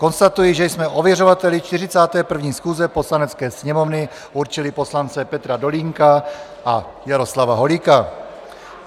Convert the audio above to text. Konstatuji, že jsme ověřovateli 41. schůze Poslanecké sněmovny určili poslance Petra Dolínka a Jaroslava Holíka.